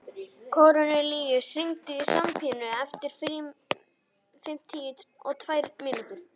Kornelíus, hringdu í Sabínu eftir fimmtíu og tvær mínútur.